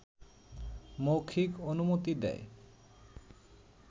মৌখিক অনুমতি দেয়